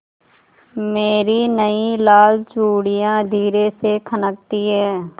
मेरी नयी लाल चूड़ियाँ धीरे से खनकती हैं